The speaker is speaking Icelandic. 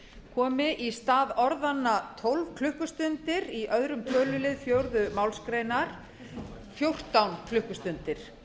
komi í stað orðanna tólf klukkustundir í öðrum tölulið fjórðu málsgreinar komi fjórtán klukkustundir